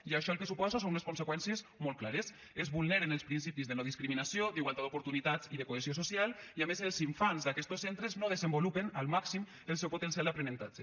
i això el que suposa són unes conseqüències molt clares es vulneren els principis de no discriminació d’igualtat d’oportunitats i de cohesió social i a més els infants d’aquestos centres no desenvolupen al màxim el seu potencial d’aprenentatge